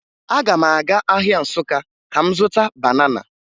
Aga m aga ahịa Nsụka ka m zụta banana